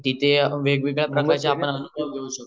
जिथे वेग वेगळे प्रकारच्या